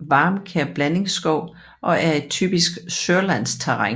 varmekær blandingsskov og er et typisk sørlandsterræn